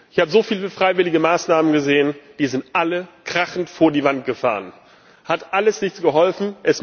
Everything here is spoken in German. Ich habe so viele freiwillige Maßnahmen gesehen, die sind alle krachend vor die Wand gefahren, es hat alles nichts geholfen.